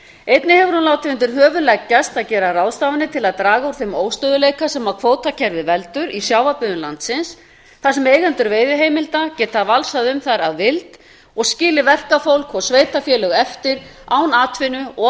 einnig hefur hún látið undir höfuð leggjast að gera ráðstafanir til að draga úr þeim óstöðugleika sem kvótakerfið veldur í sjávarbyggðum landsins þar sem eigendur veiðiheimilda geta valsað um þær að vild og skilið verkafólk og sveitarfélög eftir án atvinnu og